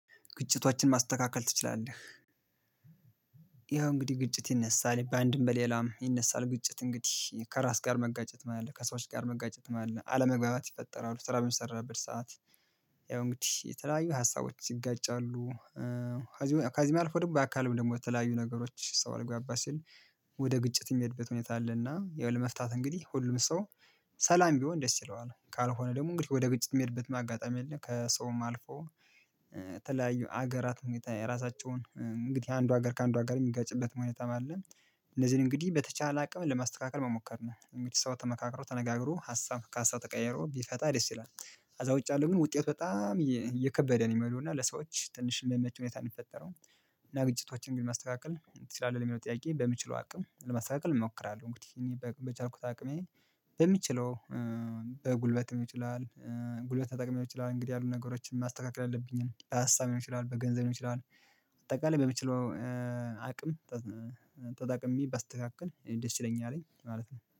ግጭቶቻችን ማስተካከል ትችላለህ? ያው እንግዲህ ግጭት ይነሳል በአንድም በሌላም ይነሳል ግጭት እንግዲህ ከራስ ጋር መጋጨትም አለ ከሰዎች ጋር መጋጨት አለ አለመግባባት ይፈጠራሉ ስራው በሚሰራበት ሰዓት ያው እንግዲህ የተለያዩ ሀሳቦች ይጋጫሉ። ከዚህ አልፎ ደግሞ በአካልም ደግሞ የተለያዩ ነገሮች ሰው አልግባባ ሲል ወደ ግጭት የሚሄድበት ሁኔታ አለና ያው ለመፍታት እንግዲህ ሁሉም ሰው ሰላም ቢሆን ደስ ይለዋል ካልሆነ ደግሞ እንግዲህ ወደ ግጭት የሚሄድበት አጋጣሚያ አለ ከሰውም አልፎ የተለያዩ ሀገራት ሁኔታ የራሳቸውን እንግዲህ አንዱ ሀገር ከአንዱ ሀገር የሚጋጭበት ሁኔታም አለ። እነዚህን እንግዲህ በተቻለ አቅም ለማስተካከል መሞከር ነው ሰው ተመካክሮ ተነጋግሮ ሀሳብ ከሀሳብ ተቀየሮ ቢፈታ ደስ ይላል። ከዛውጭ አለው ግን ውጤት በጣም እየከበደ ነው የሚሄደው እና ለሰዎች ትንሽ የሚመች ሁኔታ እሚፈጠረው። እና ግጭቶችን ግን ማስተካከል ትችላለህ ለሚለው ጥያቄ በምችለው አቅም ለማስተካከል እሞክራለሁ እንግዲህ እኔ በቻልኩት አቅሜ የምችለው በጉልበት ይችላል ጉልበት ተጠቅሜ ሊሆን ይችላለን እንግዲህ ያሉ ነገሮችን ማስተካከል ያለብኝን ሀሳብ ሊሆን ይችላል በገንዘብ ሊሆን ይችላል። በአጠቃላይ በምችለው አቅም ተጠቅሜ ባስተካከል እኔ ደስ ይለኛልኝ ማለት ነው